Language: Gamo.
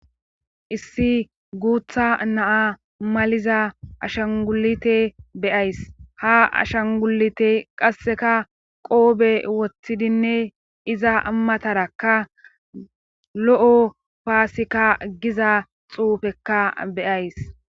Issi guutha naa maliza ashangulite beyays ha ashangulite qasseka qoobe woththidinne iza amatarakka lo7o paasika giza xuufekka beyays